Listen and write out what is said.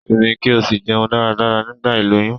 Simi ki o si jeun dáradára nigba iloyun